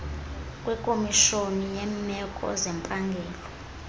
kwekomishoni yeemeko zempangelo